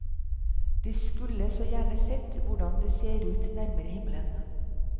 De skulle så gjerne sett hvordan det ser ut nærmere himmelen.